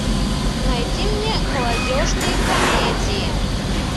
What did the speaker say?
найди мне молодежные комедии